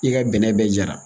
I ka bɛnɛ bɛɛ jara